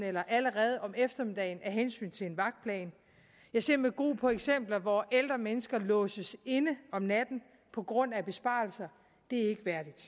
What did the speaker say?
eller allerede om eftermiddagen af hensyn til en vagtplan jeg ser med gru på eksempler hvor ældre mennesker låses inde om natten på grund af besparelser det